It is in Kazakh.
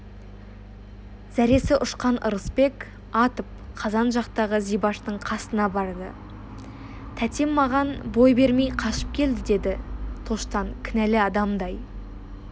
зәресі ұшқан ырысбек атып қазан жақтағы зибаштың қасына барды тәтем маған бой бермей қашып келді деді тоштан кінәлі адамдай